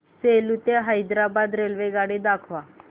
सेलू ते हैदराबाद रेल्वेगाडी दाखवा